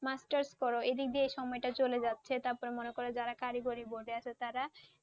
masters করো, এদিক দিয়ে সময়টা চলে যাচ্ছে। তারপর মনে করো যারা কারিগরি বসে আছে তারা